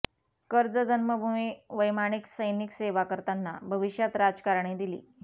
कर्ज जन्मभुमी वैमानिक सैनिक सेवा करताना भविष्यात राजकारणी दिली